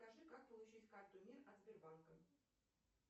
скажи как получить карту мир от сбербанка